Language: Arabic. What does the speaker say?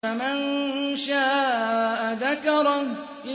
فَمَن شَاءَ ذَكَرَهُ